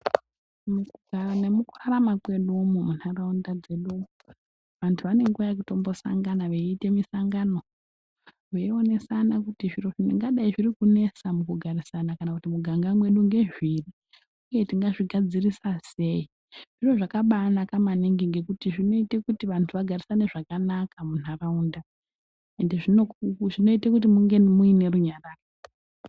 Mukugara nemukurarama kwedu umu munharaunda dzedu umu vanthu vane nguwa yekutombosangana veiite misangano veionesana kuti zviro zvingadai zviri kunesa mukugarisana kana mumiganga medu ngezviri uye tingazvigadzirisa sei, zviro zvakabaanaka maningi ngekuti zvinoite kuti vanthu vagarisane zvakanaka munharaunda ende zvinoite kuti munge muine runyararo.